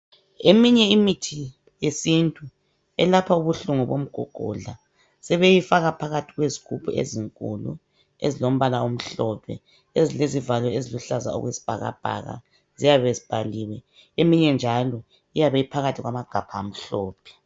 Eminye imithi yesintu elapha ubuhlungu bomgogodla sebeyifaka phakathi kwezigubhu ezinkulu, ezilombala omhlophe, ezilezivalo eziluhlaza okwesibhakabhaka ziyabe zibhaliwe. Eminye njalo iyabe iphakathi kwamagabha amhlophe.